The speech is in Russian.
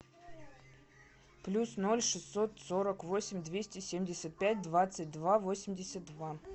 плюс ноль шестьсот сорок восемь двести семьдесят пять двадцать два восемьдесят два